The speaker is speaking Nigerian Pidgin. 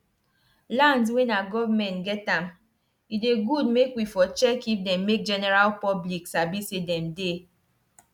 lands wen nah government get am e dey good make we for check if dem make general public sabi say dem dey